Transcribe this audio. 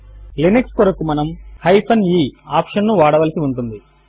Linux కొరకు మనము e option ను వాడవలసి ఉంటుంది